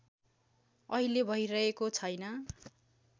अहिले भैरहेको छैन